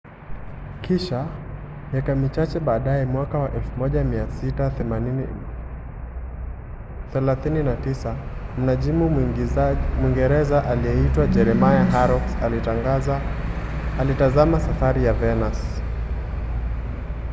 kisha miaka michache baadaye mwaka wa 1639 mnajimu mwingereza aliyeitwa jeremiah horrocks alitazama safari ya venus